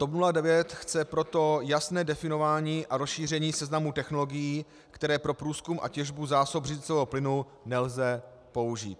TOP 09 chce proto jasné definování a rozšíření seznamu technologií, které pro průzkum a těžbu zásob břidlicového plynu nelze použít.